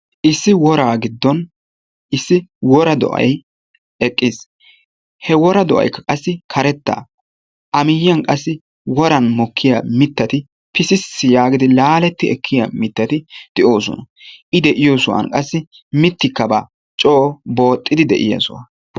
issi woraa giddon Issi wora do'ay eqqis. he wora do'aykka qassi karetta. a miyiyan qassi woran mokkiya mitatti pississi yaagidi, laaletti ekkiya mitati de'oossona. i de'iyo sohuwan qassi mitikka baawa. Coo booxxidi de'iya soha.